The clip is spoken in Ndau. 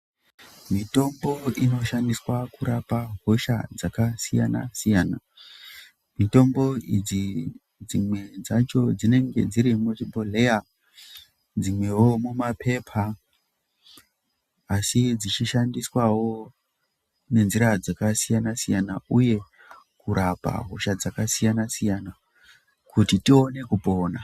Mitombo inoshandiswa kurape hosha dzakasiyana siyana. Mitombo idzi dzimwe dzacho dzinenge dziri muchibhodhleya dzimwewo mumapepa asi dzichishandiswawo nenzira dzakasiyana siyana uye kurapa hosha dzakasiyana siyana kuti tione kupona.